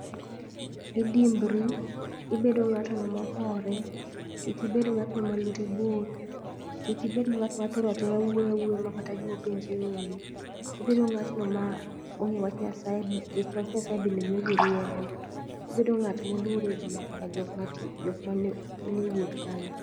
Idimbori, ibedo ng'ato ng'ama ohore. Kik ibed ng'atno ma lwete bor. Kik ibed ng'atno mathoro athora wuoyo makata gima openje onge. Ibedo ng'atno ma ong'eyo wach nyasaye nikech wach nyasaye bende miyo ji rieko. Ibedo ng'at ma oluoro ji nyaka jok manie wuoth kany.